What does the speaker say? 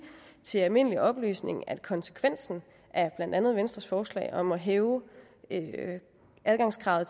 til almindelig oplysning at konsekvensen af blandt andet venstres forslag om at hæve adgangskravet